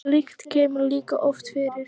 slíkt kemur líka oft fyrir